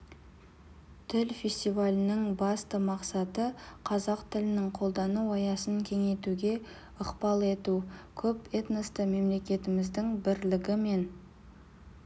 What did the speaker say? тіл фестивалінің басты мақсаты қазақ тілінің қолдану аясын кеңейтуге ықпал ету көп этносты мемлекетіміздің бірлігі мен